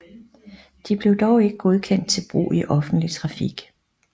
De blev dog ikke godkendt til brug i offentlig trafik